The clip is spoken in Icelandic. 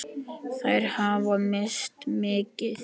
Þær hafa misst mikið.